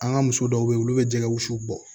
An ka muso dɔw be yen olu be jɛgɛ wusu bɔ